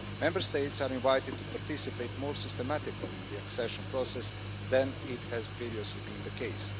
Member States are invited to participate more systematically in the accession process then has previously been the case.